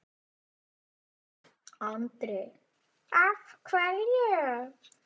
Andri: Af hverju?